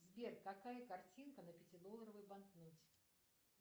сбер какая картинка на пятидолларовой банкноте